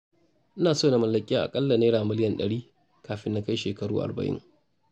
Ina so na mallaki aƙalla naira miliyan ɗari kafin na kai shekaru arba'in.